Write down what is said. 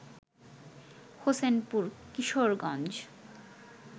Hossainpur Kishoreganj